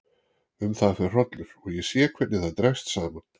Um það fer hrollur og ég sé hvernig það dregst saman.